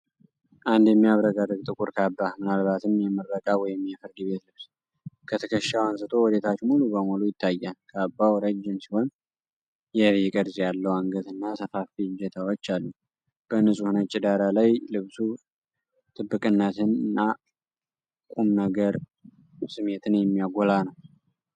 አንድ የሚያብረቀርቅ ጥቁር ካባ፤ ምናልባትም የምረቃ ወይም የፍርድ ቤት ልብስ፣ ከትከሻው አንስቶ ወደታች ሙሉ በሙሉ ይታያል። ካባው ረጅም ሲሆን፣ የቪ ቅርጽ ያለው አንገትና ሰፋፊ እጀታዎች አሉት። በንፁህ ነጭ ዳራ ላይ ልብሱ ጥብቅነትን እና የቁም ነገር ስሜትን የሚያጎላ ነው።